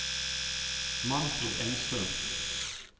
Manfred Engström